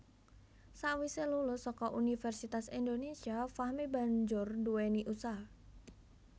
Sawise lulus saka Universitas Indonésia Fahmi banjur nduwèni usaha